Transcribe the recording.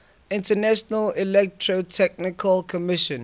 international electrotechnical commission